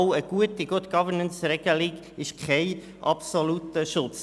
Auch eine gute Good-Governance-Regelung ist kein absoluter Schutz.